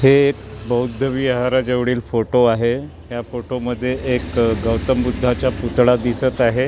हे बौद्ध विहारा जवडील फोटो आहे या फोटो मध्ये एक गौतम बुद्धाच्या पुतळा दिसत आहे .